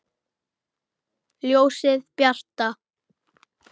Ljósið bjarta!